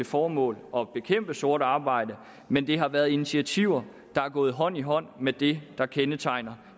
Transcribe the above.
formål at bekæmpe sort arbejde men det har været initiativer der er gået hånd i hånd med det der kendetegner